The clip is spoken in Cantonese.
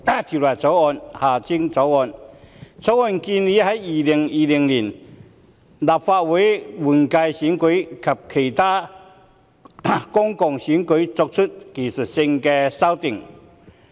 《條例草案》建議就2020年立法會換屆選舉及其他公共選舉作出技術性修訂。